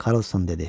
Karlson dedi.